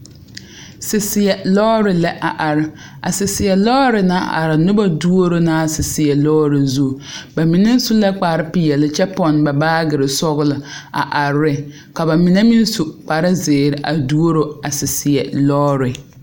Saseɛ lɔɔre la a are a saseɛ naŋ are noba duoro la a saseɛ lɔɔre zu ba mine su la kparepeɛlle kyɛ pɔnne ba baagire sɔglɔ a are ne ka ba mine meŋ su kparezeere a duoro a saseɛ lɔɔre.